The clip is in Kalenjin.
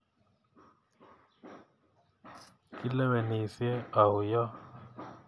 Kilewenisyei au yo?